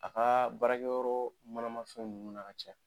A ka baarakɛyɔrɔ manama fɛnw ninnu na ka ca